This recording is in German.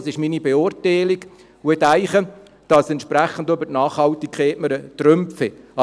Das ist meine Beurteilung, und ich denke, dass wir entsprechend mit der Nachhaltigkeit Trümpfe haben.